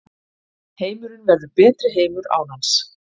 Heimurinn verður betri heimur án hans